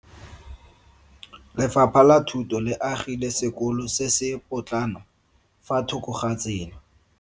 Lefapha la Thuto le agile sekolo se se potlana fa thoko ga tsela.